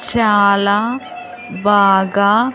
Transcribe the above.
చాలా బాగా.